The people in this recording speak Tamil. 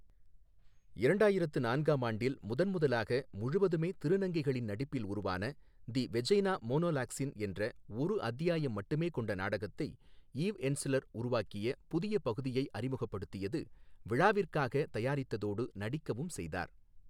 இரண்டாயிரத்து நான்காம் ஆண்டில் முதன் முதலாக முழுவதுமே திருநங்கைகளின் நடிப்பில் உருவான தி வெஜைனா மோனோலாக்ஸின் என்ற ஒரு அத்தியாயம் மட்டுமே கொண்ட நாடகத்தைை ஈவ் என்ஸ்லர் உருவாக்கிய புதிய பகுதியை அறிமுகப்படுத்தியது விழாவிற்காக தயாரித்ததோடு நடிக்கவும் செய்தார்.